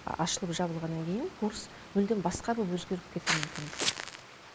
ашылып жабылғаннан кейін курс мүлдем басқа боп өзгеріп кетуі мүмкін